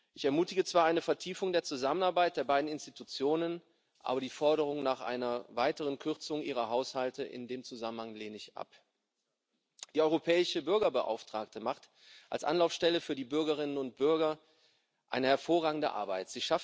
Ich ermutige zwar zu einer Vertiefung der Zusammenarbeit der beiden Einrichtungen, aber die Forderung nach einer weiteren Kürzung ihrer Haushalte in dem Zusammenhang lehne ich ab. Die Europäische Bürgerbeauftragte macht als Anlaufstelle für die Bürgerinnen und Bürger eine hervorragende Arbeit.